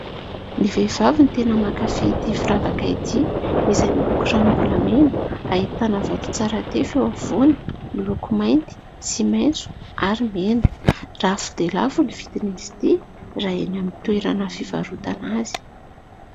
Ny vehivavy no tena mankafy ity firavaka ity izay miloko ranom-bolamena. Ahitana vato tsara tefy eo afovoany, miloko mainty sy maintso ary mena. Lafo dia lafo ny vidiny raha eny amin'ny toerana fivarotana azy.